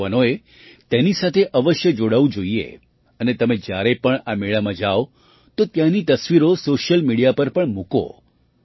આપણા યુવાનોએ તેની સાથે અવશ્ય જોડાવું જોઈએ અને તમે જ્યારે પણ આ મેળાઓમાં જાવ તો ત્યાંની તસવીરો સૉશિયલ મિડિયા પર પણ મૂકો